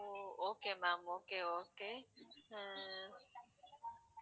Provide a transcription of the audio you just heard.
O okay ma'am okay okay a